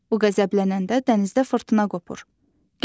O qəzəblənəndə dənizdə fırtına qopur.